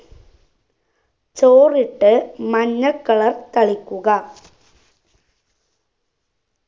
ചോറിട്ട് മഞ്ഞ color തളിക്കുക